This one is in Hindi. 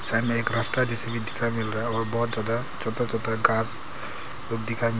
साइड में एक रास्ता जैसा भी दिखाई मिल रहा और बहुत ज्यादा छोटा छोटा घास लोग दिखाई मिल--